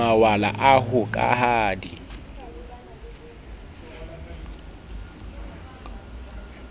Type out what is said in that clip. mawala a ho ka di